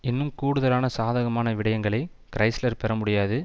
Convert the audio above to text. இன்னும் கூடுதலான சாதகமான விடயங்களை கிறைஸ்லர் பெற முடியாது